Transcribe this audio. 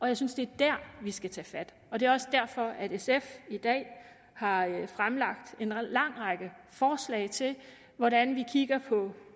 jeg synes det er der vi skal tage fat og det er også derfor at sf i dag har fremlagt en lang række forslag til hvordan vi kigger på